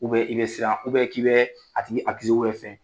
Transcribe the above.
k'i bɛ siran, k'i bɛ a tigi fɛn